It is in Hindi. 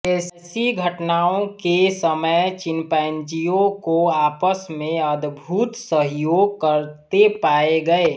ऐसी घटनाओं के समय चिम्पैंजियों को आपस में अदभुत सहयोग करते पाए गए